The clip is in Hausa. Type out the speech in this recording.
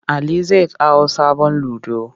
Ali zai kawo sabon ludo.